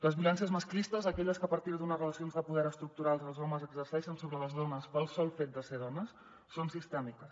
les violències masclistes aquelles que a partir d’unes relacions de poder estructurals els homes exerceixen sobre les dones pel sol fet de ser dones són sistèmiques